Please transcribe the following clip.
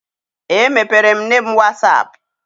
Emepeere m nne m was ap.